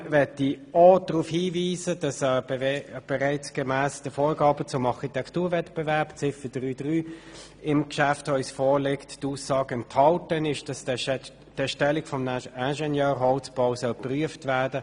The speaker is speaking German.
Zudem möchte ich auch darauf hinweisen, dass bereits in den Vorgaben zum Architekturwettbewerb unter Ziffer 3.3 die Aussage enthalten ist, die Erstellung eines Ingenieurholzbaus zu prüfen.